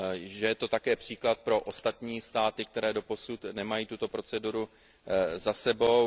Je to také příklad pro ostatní státy, které doposud nemají tuto proceduru za sebou.